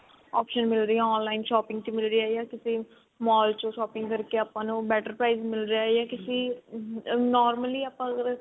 option ਮਿਲਦੀ ਆ online shopping ਮਿਲਦੀ ਆ ਯਾ ਕਿਤੇ mall ਚੋਂ shopping ਕਰਕੇ ਆਪਾਂ ਨੂੰ better price ਮਿਲ ਰਿਹਾ ਯਾ ਕਿਸੀ normally ਆਪਾਂ ਅਗਰ